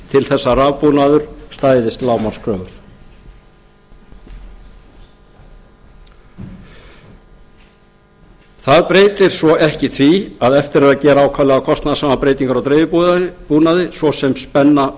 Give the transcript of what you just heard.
til þess að rafbúnaður stæðist lágmarkskröfur það breytir svo ekki því að eftir er að gera ákaflega kostnaðarsamar breytingar á dreifibúnaði svo sem spenna